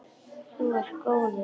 Þú ert góður!